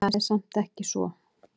Það er samt ekki svo.